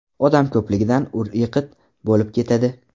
Odam ko‘pligidan ur-yiqit bo‘lib ketadi.